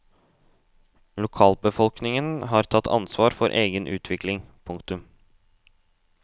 Lokalbefolkningen har tatt ansvar for egen utvikling. punktum